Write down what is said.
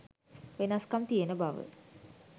වෙනස්කම් තියෙන බව.